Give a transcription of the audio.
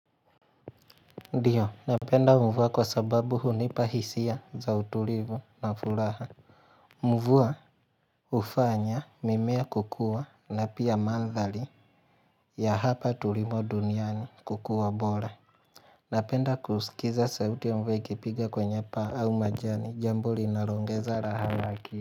Ndiyo, napenda mvua kwa sababu hunipa hisia za utulivu na fulaha mvua hufanya mimea kukua na pia mandhali ya hapa tulimo duniani kukua bora Napenda kusikiza sauti ya mvua ikipiga kwenye paa au majani jambo linaongeza rahawaki.